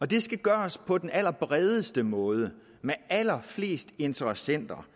det skal gøres på den allerbredeste måde med allerflest interessenter